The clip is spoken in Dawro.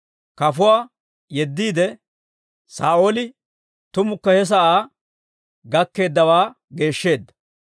geeddiyaawantta yeddiide, Saa'ooli tumukka he sa'aa gakkeeddawaa geeshsheedda.